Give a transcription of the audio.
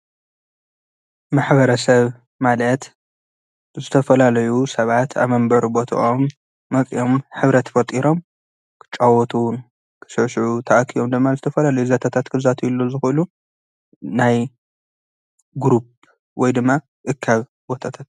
ማሕበረሰብ ማለት ዝተፈላለዩ ሰባት ኣብ መንበሪ ቦቶኦም መፂኦም ሕብረት ፈጢሮም ክጫወቱ ፣ ክስዕስዑ፣ ተኣኪቦም ድማ ዝተፈላለዩ ዛንታታት ክዛተይሉ ዝክእሉ ናይ ግሩፕ ወይ ድማ እካብ ቦታታት።